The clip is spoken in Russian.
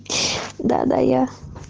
да да я